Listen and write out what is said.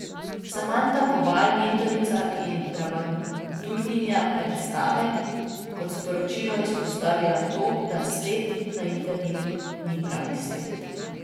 Samanta Kobal, mentorica in dramaturginja predstave, je kot sporočilo izpostavila to, da svet na internetu ni pravi svet.